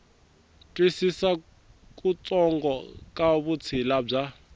twisisa kutsongo ka vutshila bya